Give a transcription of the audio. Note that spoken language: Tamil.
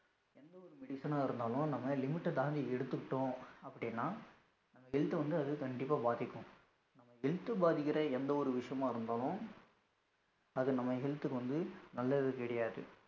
எந்த medicine ஆ இருந்தாலும் limit தாண்டி எடுத்துக்கிட்டோம் அப்டினா health வந்து அது கண்டிப்பா பாதிக்கும், நம்ம health பாதிக்குற எந்த ஒரு விசியமா இருந்தாலும் அது நம்ம health கு வந்து நல்லது கிடையாது.